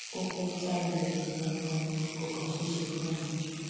ó fẹẹ já ilẹkùn yẹn ganan ni kò kàn ṣeé ṣe fún un ni